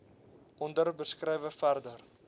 onder beskrywe verder